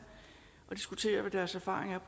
at diskutere hvad deres erfaringer er